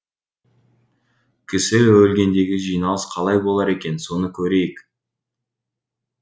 кісі өлгендегі жиналыс қалай болар екен соны көрейік